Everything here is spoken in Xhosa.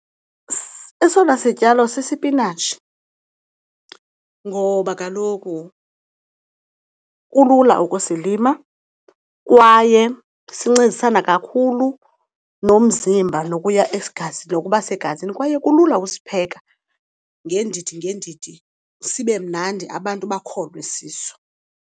Esona sityalo sisipinatshi ngoba kaloku kulula ukusilima kwaye sincedisana kakhulu nomzimba nokuya , nokuba segazini kwaye kulula usipheka ngeendidi ngeendidi sibe mnandi abantu bakholwe siso.